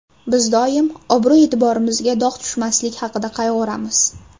Biz doim obro‘-e’tiborimizga dog‘ tushmaslik haqida qayg‘uramiz.